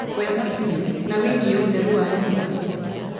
Wega biũ. Na wĩgie ũthru wa nyũmba